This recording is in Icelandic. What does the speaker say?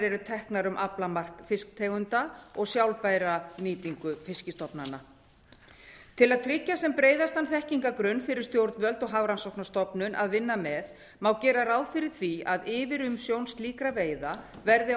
eru teknar um aflamark fisktegunda og sjálfbæra nýtingu fiskstofnanna til að tryggja sem breiðastan þekkingargrunn fyrir stjórnvöld og hafrannsóknastofnun að vinna með má gera ráð fyrir því að yfirumsjón slíkra veiða verði